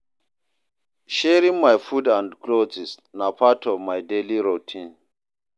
Sharing my food and clothes na part of my daily routine.